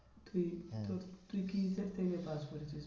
তুই হম তুই pass করেছিস?